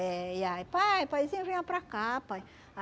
Eh e aí, pai paizinho, venha para cá, pai.